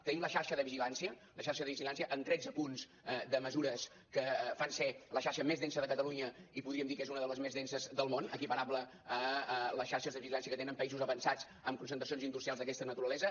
tenim la xarxa de vigilància la xarxa de vigilància amb tretze punts de mesures que la fan ser la xarxa més densa de catalunya i podríem dir que és una de les més denses del món equiparable a les xarxes de vigilància que tenen països avançats amb concentracions industrials d’aquesta naturalesa